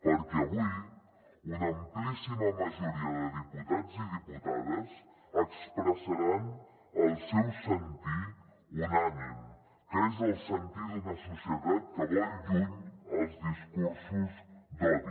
perquè avui una amplíssima majoria de diputats i diputades expressaran el seu sentir unànime que és el sentir d’una societat que vol lluny els discursos d’odi